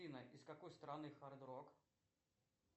афина из какой страны хард рок